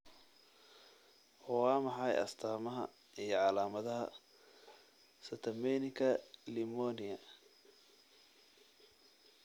Waa maxay astaamaha iyo calaamadaha Catamenika limoniyaa?